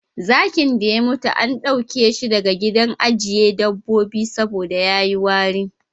Zakin da ya mutu an ɗauke shi daga gidan ajiye dabobbi saboda ya yi wari.,